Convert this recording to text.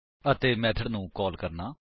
ਅਤੇ ਮੇਥਡ ਨੂੰ ਕਾਲ ਕਰਨਾ